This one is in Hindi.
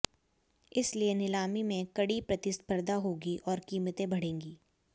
इसलिए नीलामी में कड़ी प्रतिस्पर्धा होगी और कीमतें बढ़ेंगी